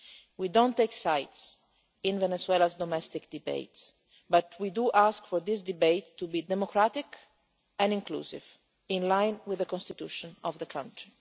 We do not take sides in Venezuela's domestic debate but we do ask for this debate to be democratic and inclusive, in line with the Constitution of the country.